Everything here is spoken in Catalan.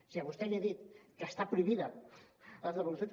si a vostè li he dit que estan prohibides les devolucions